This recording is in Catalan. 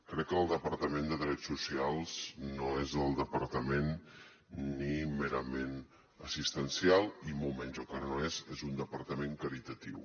crec que el departament de drets socials no és el departament ni merament assistencial i molt menys el que no és és un departament caritatiu